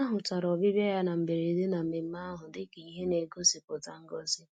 A hụtara ọbịbịa ya na mberede na mmemmé ahụ dị ka ihe na-egosipụta ngọzi